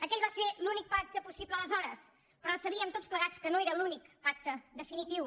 aquell va ser l’únic pacte possible aleshores però sabíem tots plegats que no era l’únic pacte definitiu